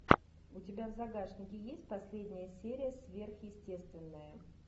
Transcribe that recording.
у тебя в загашнике есть последняя серия сверхъестественное